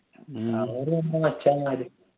അവര് എൻ്റെ മച്ചാന്മാര്